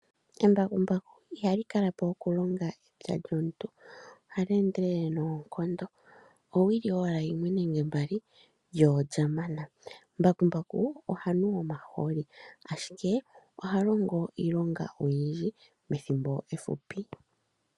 Embakumbaku ihali kala po okulonga epya lyomuntu. Ohali endelele noonkondo. Owili owala yimwe nenge mbali lyo olya mana. Mbakumbaku oha nu omahooli, ashike oha longo iilonga oyindji methimbo efupi.